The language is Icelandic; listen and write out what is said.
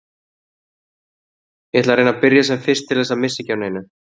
Ég ætla að reyna að byrja sem fyrst til þess að missa ekki af neinu.